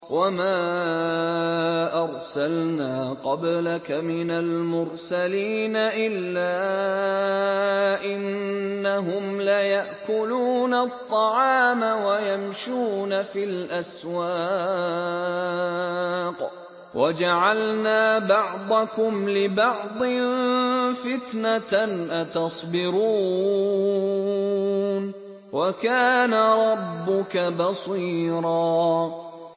وَمَا أَرْسَلْنَا قَبْلَكَ مِنَ الْمُرْسَلِينَ إِلَّا إِنَّهُمْ لَيَأْكُلُونَ الطَّعَامَ وَيَمْشُونَ فِي الْأَسْوَاقِ ۗ وَجَعَلْنَا بَعْضَكُمْ لِبَعْضٍ فِتْنَةً أَتَصْبِرُونَ ۗ وَكَانَ رَبُّكَ بَصِيرًا